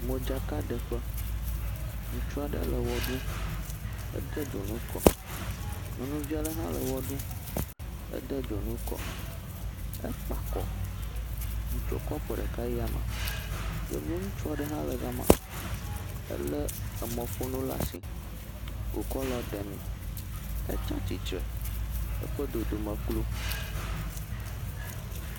Modzakaɖeƒe. Ŋutsu aɖe le wɔ ɖum. Ede dzonu kɔ. Nyɔnuvi aɖe hã le wɔ ɖum. Ede dzonu kɔ. Ekpa kɔ. Etsɔ afɔ ɖeka yi yame. Yevu ŋutsu aɖe hã le gama. Elé emɔƒonu laa si wòkɔ le woɖemee. Etsa tsitre eƒe dodome klo